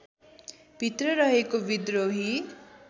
भित्र रहेको विद्रोही